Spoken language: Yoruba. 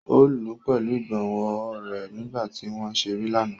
O lù u pẹlu igbonwo rẹ nigba ti wọn ǹ ṣere lana.